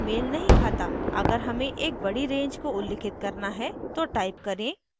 अगर हमें एक बड़ी range को उल्लिखित करना है तो टाइप करें: